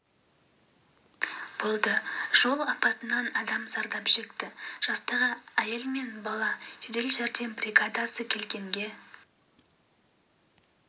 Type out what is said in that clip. болды жол апатынан адам зардап шекті жастағы әйел мен жасар бала жедел жәрдем бригадасы келгенге